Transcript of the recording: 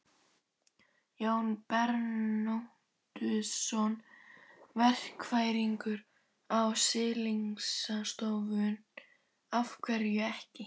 Jón Bernódusson, verkfræðingur á Siglingastofnun: Af hverju ekki?